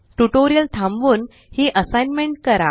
tutorial थांबवून ही assignment करा